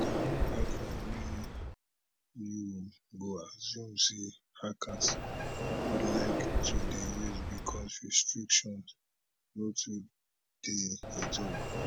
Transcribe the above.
na one platform wey you go assume say hackers go like to dey use bicos restrictions no too dey e tok